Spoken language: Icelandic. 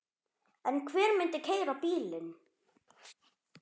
En hver myndi keyra bílinn?